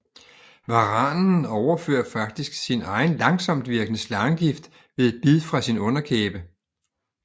Varanen overfører faktisk sin egen langsomtvirkende slangegift ved bid fra sin underkæbe